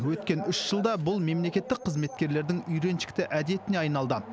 өткен үш жылда бұл мемлекеттік қызметкерлердің үйреншікті әдетіне айналды